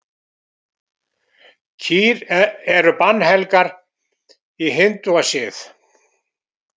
Kýr eru bannhelgar í hindúasið.